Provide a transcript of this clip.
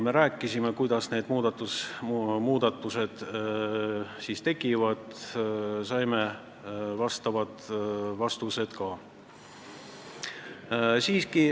Me rääkisime sellel teemal, kuidas need muudatused tekivad, ja saime ka vastused.